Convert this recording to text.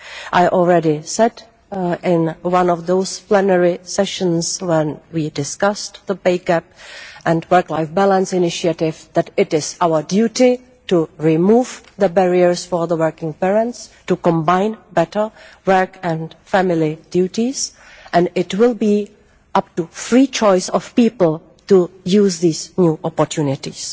I already said in one of the plenary sessions when we discussed the pay gap and work life balance initiative that it is our duty to remove the barriers for working parents to combine better work and family duties and it will be the free choice of people to use these opportunities.